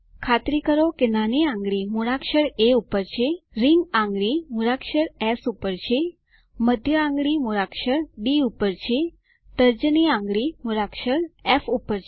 ખાતરી કરો કે નાની આંગળી મૂળાક્ષર એ પર છે રીંગ આંગળી મૂળાક્ષર એસ પર છે મધ્ય આંગળી મૂળાક્ષર ડી પર છે તર્જની આંગળી મૂળાક્ષર ફ પર છે